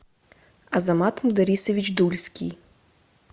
азамат мударисович дульский